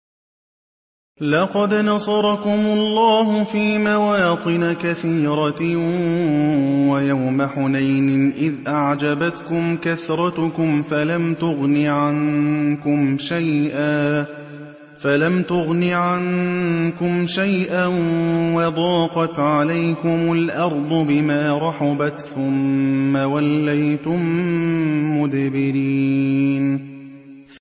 لَقَدْ نَصَرَكُمُ اللَّهُ فِي مَوَاطِنَ كَثِيرَةٍ ۙ وَيَوْمَ حُنَيْنٍ ۙ إِذْ أَعْجَبَتْكُمْ كَثْرَتُكُمْ فَلَمْ تُغْنِ عَنكُمْ شَيْئًا وَضَاقَتْ عَلَيْكُمُ الْأَرْضُ بِمَا رَحُبَتْ ثُمَّ وَلَّيْتُم مُّدْبِرِينَ